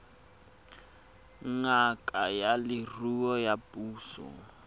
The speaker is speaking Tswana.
ngaka ya leruo ya puso